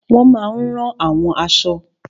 Wọ́n máa n rán àwọn aṣọ